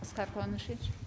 аскар куанышевич